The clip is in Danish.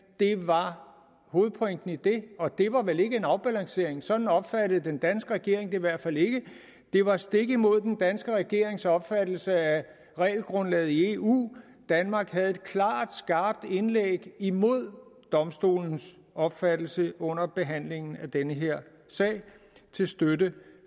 det var hovedpointen i det og det var vel ikke en afbalancering sådan opfattede den danske regering det i hvert fald ikke det var stik imod den danske regerings opfattelse af regelgrundlaget i eu danmark havde et klart skarpt indlæg imod domstolens opfattelse under behandlingen af den her sag til støtte